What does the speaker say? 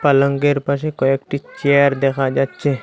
পালঙ্কের পাশে কয়েকটি চেয়ার দেখা যাচ্ছে।